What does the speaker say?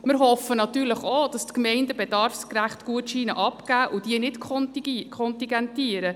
Wir hoffen natürlich auch, dass die Gemeinden Gutscheine bedarfsgerecht abgeben und sie nicht kontingentieren.